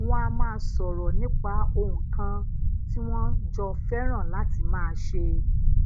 wón a maa soro nipa ohun kan tí wón jọ feran lati maa ṣe